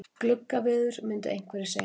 Gluggaveður myndu einhverjir segja.